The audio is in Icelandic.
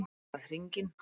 Lagt af stað hringinn